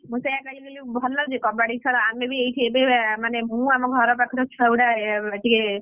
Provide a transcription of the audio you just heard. ମୁଁ ସେୟା କହିଲି ଭଲ ଯେ କବାଡି ଖେଳ ଆମେ ବି ଏଇଠି ଏବେ ମାନେ ମୁଁ ଆମ ଘର ପାଖର ଛୁଆ ଗୁଡା।